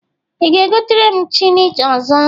Ị ga-egotere m cheni ọzọ?